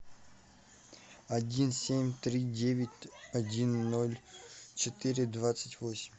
один семь три девять один ноль четыре двадцать восемь